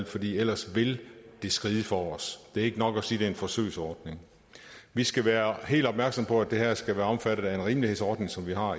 fordi ellers vil det skride for os det er ikke nok at sige at det en forsøgsordning vi skal være helt opmærksomme på at det her skal være omfattet af en rimelighedsordning som vi har